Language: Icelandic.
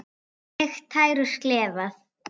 Sleikt tær og slefað.